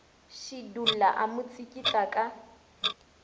šidulla a mo tsikitla ka